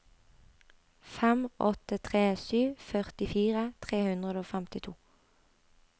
fem åtte tre sju førtifire tre hundre og femtito